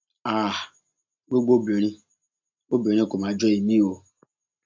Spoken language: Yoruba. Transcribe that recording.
háà gbogbo obìnrin obìnrin kò mà jọ èmi o